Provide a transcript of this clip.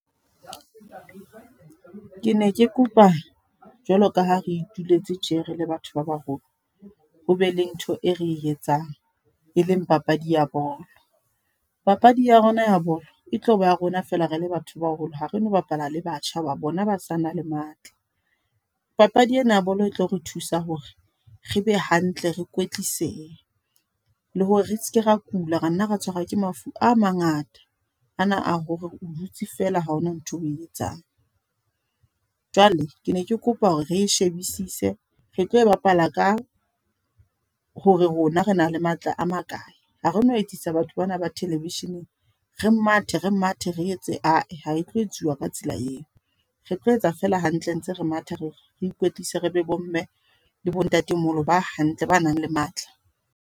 Ke ne ke kopa, jwalo kaha re ituletse tje re le batho ba baholo. Ho be le ntho e re etsang, e leng papadi ya bolo. Papadi ya rona ya bolo. E tloba ya rona fela re le batho baholo. Ha re no bapala le batjha, ho ba bona ba sa na le matla. Papadi ena ya bolo e tlo re thusa hore re be hantle, re kwetlise. Le hore re seke ra kula, ra nna ra tshwarwa ke mafu a mangata. A na a hore o dutse feela ha hona ntho e etsang. Jwale ke ne ke kopa hore re e shebisise. Re tlo e bapala ka, hore rona re na le matla a makae. Ha re no etsisa batho bana ba television-eng. Re mathe, re mathe re etse ae, ha e tlo etsuwa ka tsela eo. Re tlo etsa feela hantle ntse re matha re ikwetlise, re be bo mme le bo ntatemoholo ba hantle, ba nang le matla.